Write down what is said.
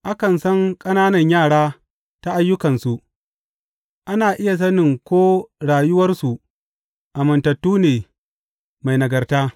Akan san ƙananan yara ta ayyukansu, ana iya sani ko rayuwarsu amintattu ne, mai nagarta.